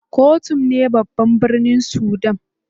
Khartoum ne babban birnin Sudan.